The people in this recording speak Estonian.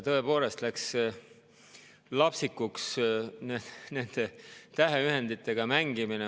Tõepoolest läks lapsikuks nende täheühenditega mängimine.